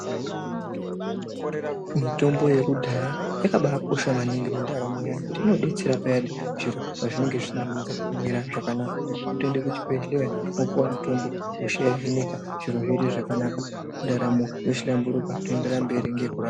Mitombo yekudhaya yakabaa kosha maningi mundaramo dzavanhu kuti inodetsera payani zviro pazvinenga zvisina kuunza kumira zvakanaka kutoenda kuchibhedhleya mwopuwa mutombo mwosheyaniko zviro zvoite zvakanaka ndaramo yohlamburuka toenderera mberi ngekurarama.